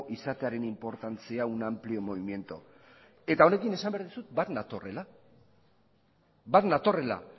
izatearen inportantzia un amplio movimiento eta honekin esan behar dizut bat natorrela bat natorrela